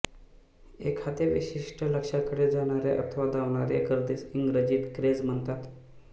एखाद्या विशिष्ट लक्ष्याकडे जाणाऱ्या अथवा धावणाऱ्या गर्दीस इंग्रजीत क्रेझ म्हणतात